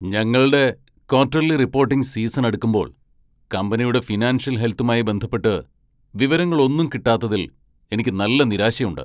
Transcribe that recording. ഞങ്ങൾടെ quarterly reporting season അടുക്കുമ്പോൾ കമ്പനിയുടെ ഫിനാൻഷ്യൽ ഹെൽത്തുമായി ബന്ധപ്പെട്ട് വിവരങ്ങൾ ഒന്നും കിട്ടാത്തതിൽ എനിക്ക് നല്ല നിരാശയുണ്ട്.